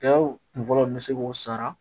kun fɔlɔ in bɛ se k'o sara